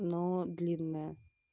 но длинная